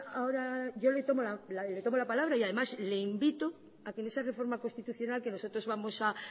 ahora yo le tomo la palabra y además le invito a que en esa reforma constitucional que nosotros vamos a